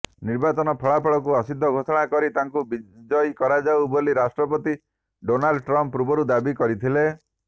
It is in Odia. ନିର୍ବାଚନ ଫଳାଫଳଙ୍କୁ ଅସିଦ୍ଧ ଘୋଷଣା କରି ତାଙ୍କୁ ବିଜୟୀ କରାଯାଉ ବୋଲି ରାଷ୍ଟ୍ରପତି ଡୋନାଲଡ ଟ୍ରମ୍ପ ପୂର୍ବରୁ ଦାବି କରିଥିଲେ